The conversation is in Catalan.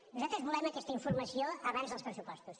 nosaltres volem aquesta informació abans dels pressupostos